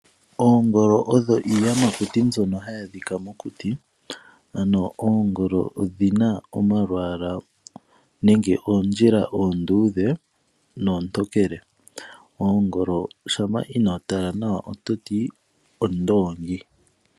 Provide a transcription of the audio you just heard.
Oongolo odho iiyamakuti mbyo hayi adhika mokuti. Ano oongolo odhina omalwaala nenge oondjila oonduudhe noontokele. Oongolo shampa inoo tala nawa ototi ondoongi.